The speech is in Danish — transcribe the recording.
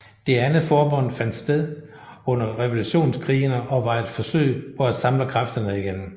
Det andet forbund fandt sted under Revolutionskrigene og var et forsøg på at samle kræfterne igen